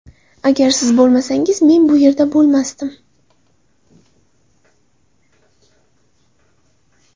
Agar siz bo‘lmasangiz, men bu yerda bo‘lmasdim”.